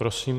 Prosím.